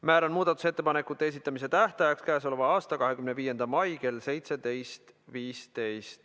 Määran muudatusettepanekute esitamise tähtajaks k.a 25. mai kell 17.15.